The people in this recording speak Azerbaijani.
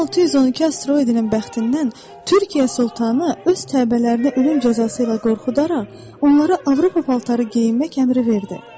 V-612 asteroidinin bəxtindən Türkiyə Sultanı öz təbəələrinə ölüm cəzası ilə qorxudaraq onlara Avropa paltarı geyinmək əmri verdi.